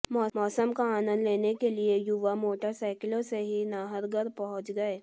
मौसम का आनंद लेने के लिए युवा मोटरसाईकिलों से ही नाहरगढ़ पहुंच गए